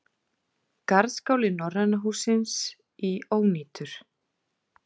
Garðskáli Norræna hússins í ónýtur